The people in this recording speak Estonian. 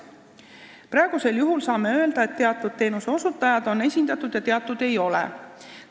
Praegusel juhul saame öelda, et osa teenuseosutajaid on nõukogus esindatud ja osa ei ole.